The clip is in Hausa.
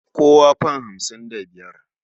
Kawo fam hamsin da biyar.